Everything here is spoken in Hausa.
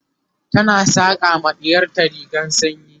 tana saƙa ma ɗiyarta rigar sanyi